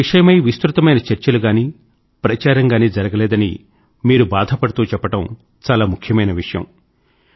ఈ విషయమై విస్తృతమైన చర్చలు గానీ ప్రచారం గానీ జరగలేదని మీరు బాధపడుతూ చెప్పడం చాలా ముఖ్యమైన విషయం